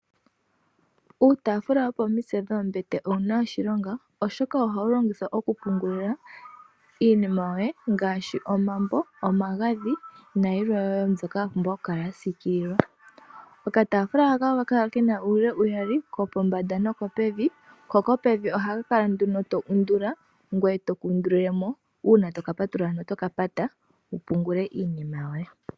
Uutafula wo pomitse dhombete ouna oshilongo oshoka ohawu longithwa okupungulila iinima yoye ngaashi omambo, omagadhi na yilwe yo mbyoka yapumbwa okula yasikililwa. Okatafula haka oha kakala kena uula uuyali ko mbombanda no pevi, hoko pevi oha kakala nduno to undula ngweye toku undulile mo uuna to kapatulula ngweye otoka pata uuna topungula iinima yoye.